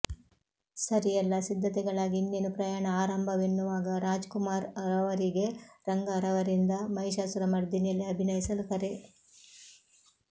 ಸರಿ ಎಲ್ಲಾ ಸಿದ್ಧತೆಗಳಾಗಿ ಇನ್ನೇನು ಪ್ರಯಾಣ ಆರಂಭವೆನ್ನುವಾಗ ರಾಜ್ ಕುಮಾರ್ ರವರಿಗೆ ರಂಗಾರವರಿಂದ ಮಹಿಷಾಸುರ ಮರ್ದಿನಿಯಲ್ಲಿ ಅಭಿನಯಿಸಲು ಕರೆ